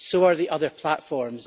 so are the other platforms.